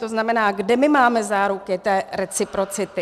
To znamená, kde my máme záruky té reciprocity?